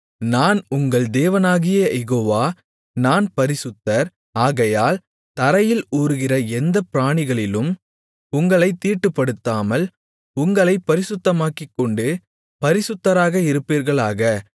நான் உங்கள் தேவனாகிய யெகோவா நான் பரிசுத்தர் ஆகையால் தரையில் ஊருகிற எந்தப் பிராணிகளிலும் உங்களைத் தீட்டுப்படுத்தாமல் உங்களைப் பரிசுத்தமாக்கிக்கொண்டு பரிசுத்தராக இருப்பீர்களாக